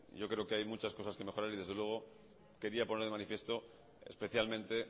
yo creo que hay muchas cosas que mejorar y desde luego quería poner de manifiesto especialmente